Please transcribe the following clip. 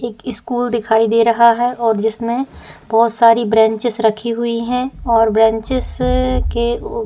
एक स्कूल दिखाई दे रहा है और जिसमे बहोत सारी ब्रेन्चेस रखी हुई हैं और ब्रेन्चेस के ऊपर --